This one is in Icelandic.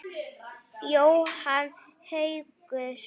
Jóhann Haukur.